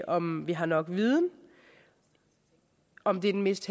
om vi har nok viden og om det er den mest